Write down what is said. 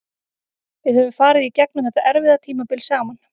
Við höfum farið í gegnum þetta erfiða tímabil saman.